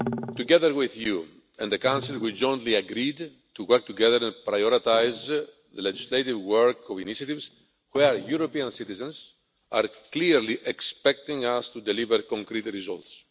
Together with you and the Council, we jointly agreed to work together to prioritise the legislative work of initiatives where European citizens are clearly expecting us to deliver concrete results.